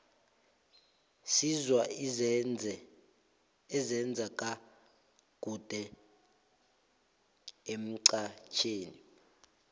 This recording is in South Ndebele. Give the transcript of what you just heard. sizwa ezenze ka kude emxhajhewi